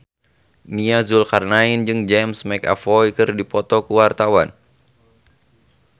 Nia Zulkarnaen jeung James McAvoy keur dipoto ku wartawan